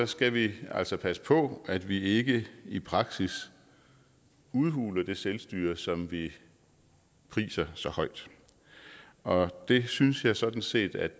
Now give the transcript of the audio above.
skal vi altså passe på at vi ikke i praksis udhuler det selvstyre som vi priser så højt og det synes jeg sådan set at